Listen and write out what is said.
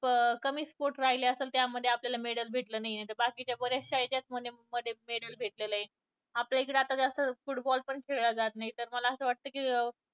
अं कमी sport राहील असल त्यामध्ये आपल्याला medal बाकीच्या बरेचशा ह्याच्यात आपल्याला medal भेटलेलं आहे. आपल्या इकडे जास्त football पण खेळला जात नाही. तर मला असं वाटतं की